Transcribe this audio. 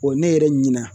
ne yɛrɛ ɲina